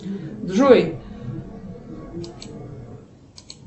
джой